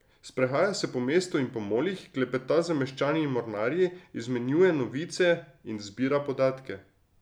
Sprehaja se po mestu in pomolih, klepeta z meščani in mornarji, izmenjuje novice in zbira podatke.